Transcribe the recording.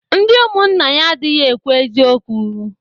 Ndị ụmụnna ya adịghị ekwu eziokwu